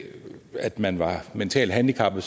man var mentalt handicappet